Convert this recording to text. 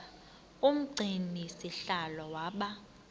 umgcini sihlalo waba